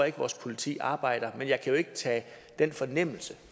ikke vores politi arbejder men jeg kan jo ikke tage den fornemmelse